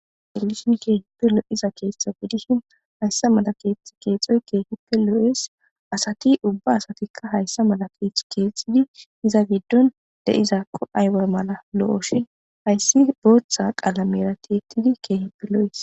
Helishin keehippe lo7iza keetta bidishin hayssa mala keethth keexoy keehippe loo7ees asati ubba asatikka hayssa mala keeth keexxidi iza giddun de7izaakko ayba mala lo7oshin hayssi booththa qalamera teettidi keehippe lo7ees